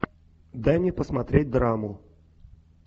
дай мне посмотреть драму